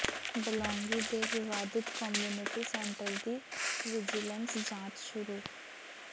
ਬਲੌਂਗੀ ਦੇ ਵਿਵਾਦਿਤ community centre ਦੀ ਵਿਜੀਲੈਂਸ ਜਾਂਚ ਸ਼ੁਰੂ